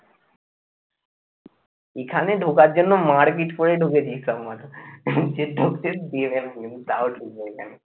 এখানে ঢোকার জন্য মারপিট করে ঢুকেছি সব তাও ঢুকবো এখানে